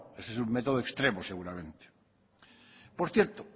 eso es un método extremo seguramente por cierto